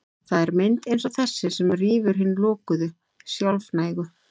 Það er mynd eins og þessi sem rýfur hina lokuðu, sjálfnægu